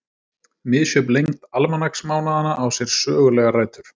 Misjöfn lengd almanaksmánaðanna á sér sögulegar rætur.